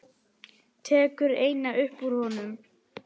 Tekur eina upp úr honum.